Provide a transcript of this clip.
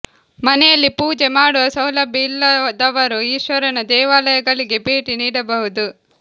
ಮನೆಯಲ್ಲಿ ಪೂಜೆ ಮಾಡುವ ಸೌಲಭ್ಯ ಇಲ್ಲದವರು ಈಶ್ವರನ ದೇವಾಲಯಗಳಿಗೆ ಭೇಟಿ ನೀಡಬಹುದು